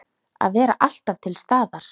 Að vera alltaf til staðar.